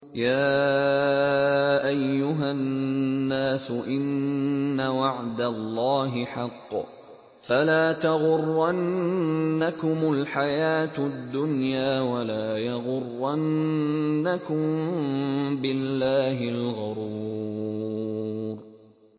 يَا أَيُّهَا النَّاسُ إِنَّ وَعْدَ اللَّهِ حَقٌّ ۖ فَلَا تَغُرَّنَّكُمُ الْحَيَاةُ الدُّنْيَا ۖ وَلَا يَغُرَّنَّكُم بِاللَّهِ الْغَرُورُ